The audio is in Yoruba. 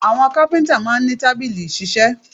Àwọn kápíntà máa n ní tábìlì ìṣiṣẹ́